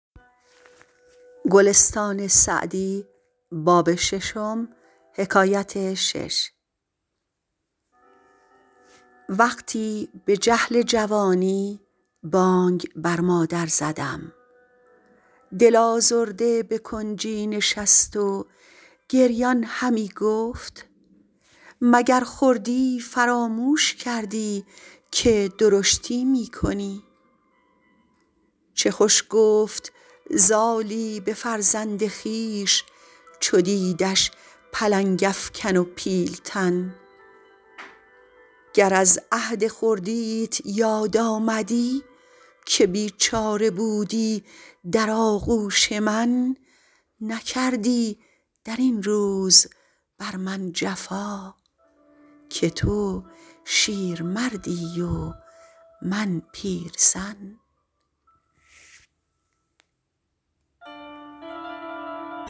وقتی به جهل جوانی بانگ بر مادر زدم دل آزرده به کنجی نشست و گریان همی گفت مگر خردی فراموش کردی که درشتی می کنی چه خوش گفت زالی به فرزند خویش چو دیدش پلنگ افکن و پیل تن گر از عهد خردیت یاد آمدی که بیچاره بودی در آغوش من نکردی در این روز بر من جفا که تو شیرمردی و من پیرزن